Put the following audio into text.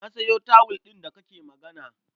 Na sayo tawul ɗin da kake magana.